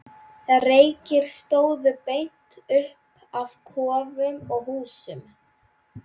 Reykir stóðu beint upp af kofum og húsum.